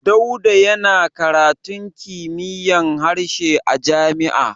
Dauda yana karatun kimiyyar harshe a jami'a.